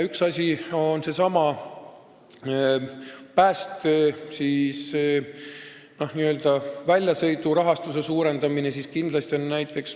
Üks asi on näiteks päästeväljasõidu rahastuse suurendamine.